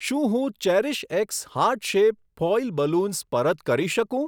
શું હું CherishX heart shape foil balloons પરત કરી શકું?